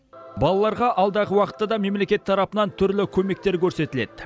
балаларға алдағы уақытта да мемлекет тарапынан түрлі көмектер көрсетіледі